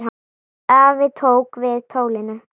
Afi tók við tólinu.